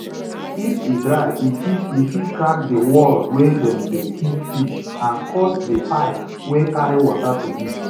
if e dry e fit e fit crack di wall wey dem dey keep fish and cause di pipe wey carry water to leak